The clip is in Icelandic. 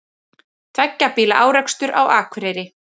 Tveggja bíla árekstur á Akureyri